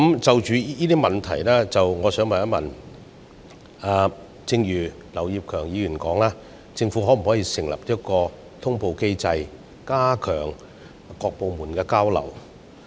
就這些問題來說，我想問，正如劉業強議員所說，政府可否設立通報機制，加強各部門的交流？